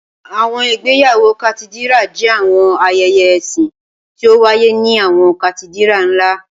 Awọn igbeyawo Katidira jẹ awọn ayẹyẹ ẹsin ti o waye ni awọn Katidira nla.